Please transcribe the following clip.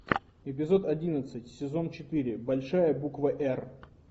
эпизод одиннадцать сезон четыре большая буква р